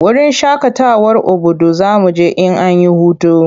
Wurin shakatawar Obudu za mu je in an yi hutu.